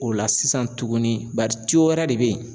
O la sisan tuguni bari wɛrɛ de be ye